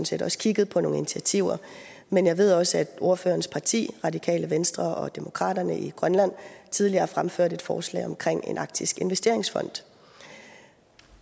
set også kigget på nogle initiativer men jeg ved også at ordførerens parti radikale venstre og demokraterne i grønland tidligere har fremført et forslag omkring en arktisk investeringsfond